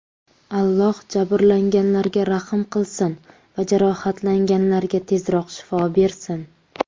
Alloh jabrlanganlarga rahm qilsin va jarohatlanganlarga tezroq shifo bersin.